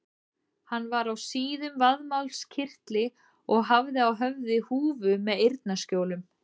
Hann var á síðum vaðmálskyrtli og hafði á höfði húfu með eyrnaskjólum.